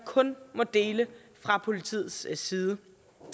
kun må deles fra politiets side